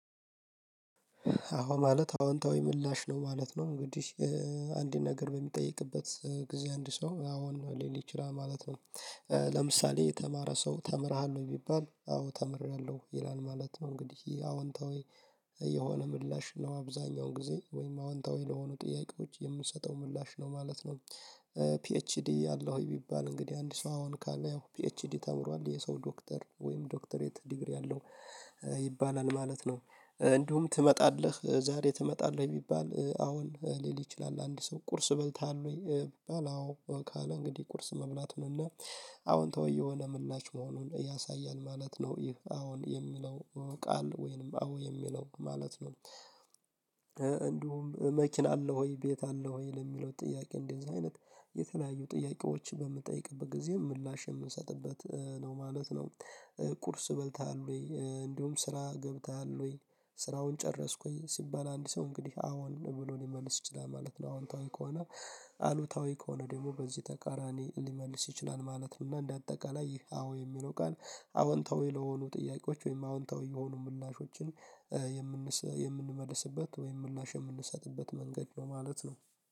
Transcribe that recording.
አዎ ማለት አዎንታዊ ምላሽ ነው ማለት ነው እንግዲህ አንድ ነገር በሚጠይቅበት ጊዜ አንድ ሰው አዎን ሊል ይችላል ማለት ነው። ለምሳሌ የተማረ ሰው ተምረሃል ወይ ቢባል አዎ ተምሬያለሁ ይላል ማለት ነው። እንግዲህ አዎንታዊ የሆነ ምላሽ ነው አብዛኛው ጊዜ ወይም አዎንታዊ ለሆኑ ጥያቄዎች የምንሰጠው ምላሽ ነው ማለት ነው። ፒኤችዲ አለው ወይ ቢባል እንግዲህ አንድ ሰው አሁን ካለ ፒኤችዲ ተምሯል የሰው ዶክተር ወይም ዶክተሬት ዲግሪ አለው ይባላል ማለት ነው። እንዲሁም ትመጣለህ ዛሬ ትመጣለህ ቢባል አዎን ሊል ይችላል አንድ ሰው ቁርስ በልተሃል ወይ ቢባል አዎ ካለ እንግዲህ ቁርስ መብላቱን እና አሁታዊ የሆነ ምላሽ መሆኑን ያሳያል ማለት ነው። ይህ አዎን የሚለው ቃል ወይንም አዎ የሚለው ማለት ነው። እንዲሁም መኪና አለው ወይ ቤት አለው ወይ ለሚለው ጥያቄ እንደዚህ አይነት የተለያዩ ጥያቄዎችን በምትጠይቅበት ጊዜ ምላሽ የምንሰጥበት ነው ማለት ነው። ቁርስ በልተሃል ወይ እንዲሁም ስራ ገብተሃል ወይ ስራውን ጨረስኩኝ ሲባል አንድ ሰው እንግዲህ አዎን ብሎ ሊመልስ ይችላል ማለት ነው። አዎንታዊ ከሆነ አሉታዊ ከሆነ ደግሞ በዚህ ተቃራኒ ሊመልስ ይችላል ማለት ነው። እና እንደ አጠቃላይ ይህ አዎ የሚለው ቃል አዎንታዊ ለሆኑ ጥያቄዎች ወይም አዎንታዊ የሆኑ ምላሾችን የምንሰጥ የምንመልስበት ወይም ምላሽ የምንሰጥበት መንገድ ነው ማለት ነው።